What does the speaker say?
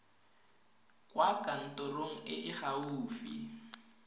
kwa kantorong e e gaufi